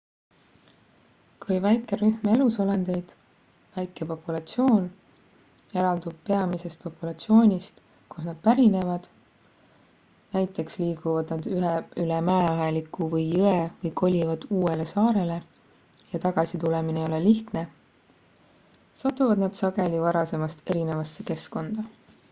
kui väike rühm elusolendeid väike populatsioon eraldub peamisest populatsioonist kust nad pärinevad näiteks liiguvad nad üle mäeaheliku või jõe või kolivad uuele saarele ja tagasi tulemine ei ole lihtne satuvad nad sageli varasemast erinevasse keskkonda